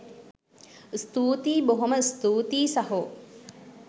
ස්තූතියි බොහොම ස්තූතියි සහෝ